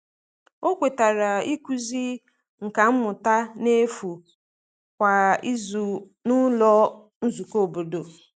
O kwetara ịkụzi nka mmụta n’efu kwa izu n’ụlọ nzukọ obodo.